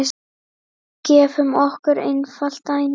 Gefum okkur einfalt dæmi.